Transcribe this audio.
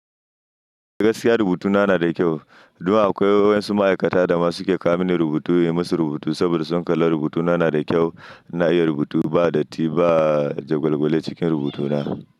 Gaskiya rubutuna na da kyau. Dun akwai wayansu ma'aikata da ma suke kawo mini rubutu, in yi musu rubutu saboda sun kalla rubutuna na da kyau. Na iya rubutu ba datti ba, jagwalgwale cikin rubutuna.